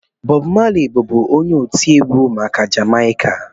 Bọb Mali bụbu onye otiegwu nke Jamaịka